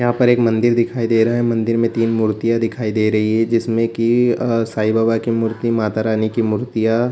यहाँ पर एक मंदिर दिखाई दे रहा है मंदिर में तीन मूर्तियां दिखाई दे रही हैं जिसमें की अ साईं बाबा की मूर्ति माता रानी की मूर्तियां --